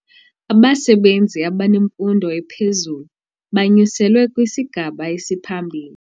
Abasebenzi abanemfundo ephezulu banyuselwe kwisigaba esiphambili.